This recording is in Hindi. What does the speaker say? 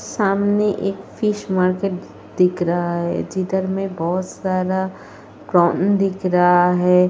सामने एक फिश मार्केट दिख रहा है। जिधर में बहोत सारा प्रॉन दिख रहा है।